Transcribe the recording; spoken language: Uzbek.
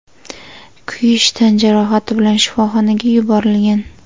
kuyish tan jarohati bilan shifoxonaga yuborilgan.